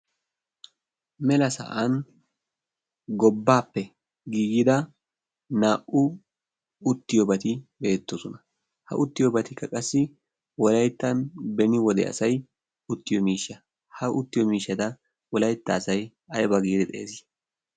mela sa'an gobbaappe giigida naa''u uttiyoobati beettoosona ha uttiyoobatikka qassi wolayttan beni wode asai uttiyo miishsha ha uttiyo miishshada wolaytta asai ayba giidi xees